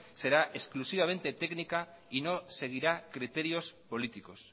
será exclusivamente técnica y no seguirá criterios políticos